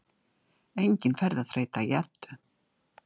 Engin ferðaþreyta í Eddu